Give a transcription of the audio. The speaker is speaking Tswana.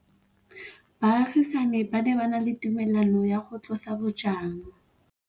Baagisani ba ne ba na le tumalanô ya go tlosa bojang.